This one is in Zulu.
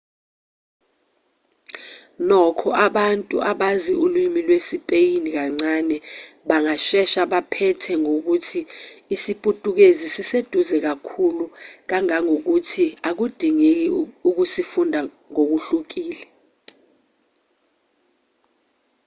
nokho abantu abazi ulimi lwesipeyini kancane bangashesha baphethe ngokuthi isiputukezi siseduze kakhulu kangangokuthi akudingeki ukusifunda ngokuhlukile